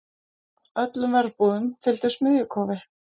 Öllum verbúðum fylgdi smiðjukofi.